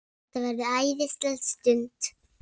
Þetta verður æðisleg stund.